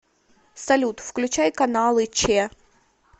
салют включай каналы че